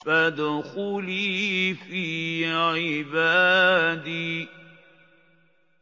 فَادْخُلِي فِي عِبَادِي